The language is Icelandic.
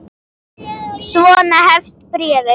Svona hefst bréfið